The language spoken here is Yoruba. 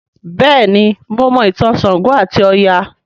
béèni mọ Mo ìtàn ṣàngó ati Oya.